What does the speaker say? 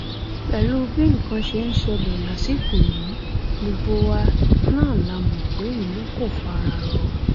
pẹlú bí nǹkan ṣe ń ṣẹlẹ lásìkò yìí gbogbo wa náà la mọ pé ìlú kò fara rọ